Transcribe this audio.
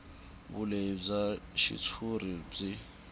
vulehi bya xitshuriwa byi